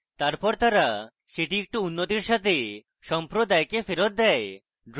তারপর তারা সেটি একটু উন্নতির সাথে সম্প্রদায়কে ফেরৎ দেয়